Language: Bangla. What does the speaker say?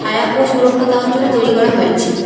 ছায়া ও সুরক্ষা দেওয়ার জন্য তৈরি করা হয়েছে।